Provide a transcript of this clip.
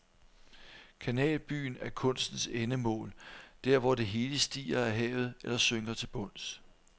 Kanalbyen er kunstens endemål, der hvor det hele stiger af havet eller synker til bunds.